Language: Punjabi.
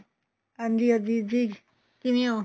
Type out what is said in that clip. ਹਾਂਜੀ ਹਰਜੀਤ ਜੀ ਕਿਵੇਂ ਓ